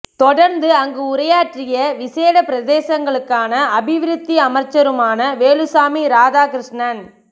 தொடர்ந்து அங்கு உரையாற்றிய விசேட பிரதேசங்களுக்கான அபிவிருத்தி அமைச்சருமான வேலுசாமி இராதாகிருஷ்ணன்